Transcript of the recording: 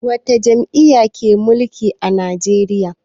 Wata jam'iyya ke mulki a Najeriya?